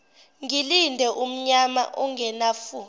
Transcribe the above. ngilinde umnyama ongenafu